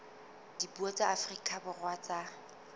dipuo tsa afrika borwa tsa